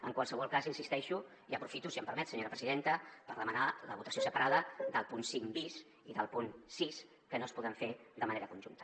en qualsevol cas insisteixo i aprofito si m’ho permet senyora presidenta per demanar la votació separada del punt cinc bis i del punt sis que no es poden fer de ma·nera conjunta